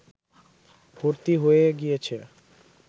ভর্তি হয়ে গিয়েছে